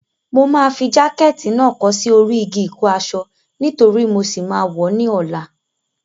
Mo máa fi jákẹ̀tì náà kọ́ sí orí igi ìkọ́-aṣọ nítorí mo ṣì máa wọ̀ ọ́ ní ọ̀la.